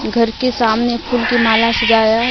घर के सामने फूल की माला सजाया--